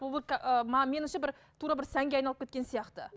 ы меніңше бір тура бір сәнге айналып кеткен сияқты